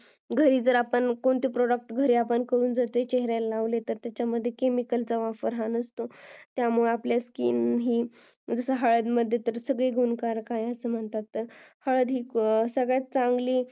घरी आपण करून जर कोणते product घरी चेहऱ्याला लावले त्याच्यामध्ये chemicals हा वापर नसतो ज्यामुळे आपले skin म्हणजे हळद मध्ये तर सगळे गुणकारक आहे हळदी सगळ्यात चांगली